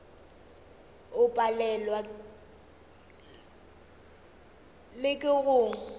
o palelwa le ke go